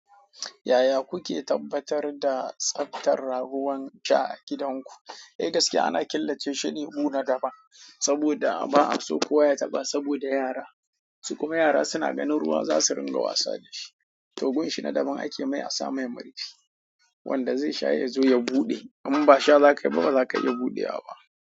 Yaya kuke tabbatar da tsaftar raguwan ja a gidanku? Ai gaskiya ana killace shine bu na daban saboda ba'a so kowa ya taɓa saboda yara. Su kuma yara suna ganin ruwan za su ringa wasa da shi. To gunshi na daban ake mai a sa mai marifi wanda zai sha yazo ya buɗe. Im basha za ka yi ba baza ka iya buɗe waɓa.